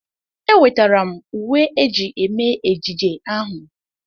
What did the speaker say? Ewetara m uwe eji eme ejije ahụ.